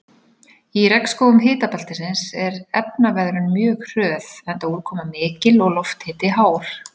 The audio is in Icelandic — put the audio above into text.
Í regnskógum hitabeltisins er efnaveðrun mjög hröð enda úrkoma mikil og lofthiti hár.